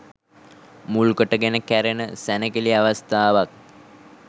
මුල් කොට ගෙන කැරෙන සැණකෙළි අවස්ථාවක්